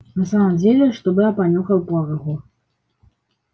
на самом деле чтобы я понюхал пороху